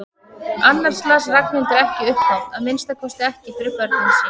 Annars las Ragnhildur ekki upphátt, að minnsta kosti ekki fyrir börnin sín.